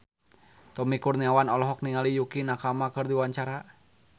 Tommy Kurniawan olohok ningali Yukie Nakama keur diwawancara